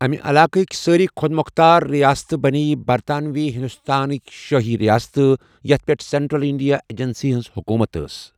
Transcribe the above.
اَمہِ علاقٕکۍ سٲری خۄدمختار رِیاستہٕ بنٛیےٚ برطانوی ہنٛدوستانٕکۍ شٲہی ریاستہٕ، یَتھ پٮ۪ٹھ سینٹرل انڈیا ایجنسی ہنٛز حکوٗمت ٲس۔